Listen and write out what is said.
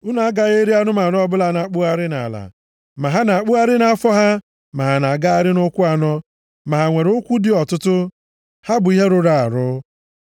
Unu agaghị eri anụmanụ ọbụla na-akpụgharị nʼala, ma ha na-akpụgharị nʼafọ ha, ma ha na-agagharị nʼụkwụ anọ, ma ha nwere ụkwụ dị ọtụtụ. Ha bụ ihe rụrụ arụ.